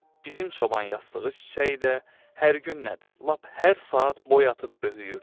Bizim çoban yastığı çiçəyi də hər gün nədir, lap hər saat boy atıb böyüyürdü.